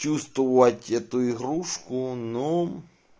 чувствовать эту игрушку ну